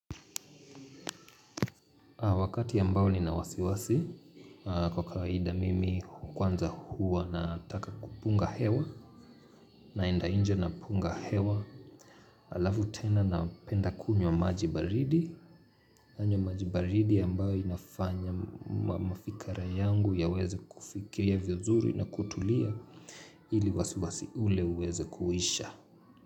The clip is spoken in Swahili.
Wakati ambao nina wasiwasi kwa kawaida mimi kwanza huwa na taka kupunga hewa naenda nje na punga hewa alafu tena na penda kunywa majibaridi. Nanywa majibaridi ambayo inafanya mafikra yangu yaweze kufikia vizuri na kutulia ili wasiwasi ule uweze kuhisha.